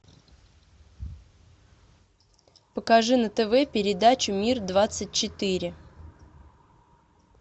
покажи на тв передачу мир двадцать четыре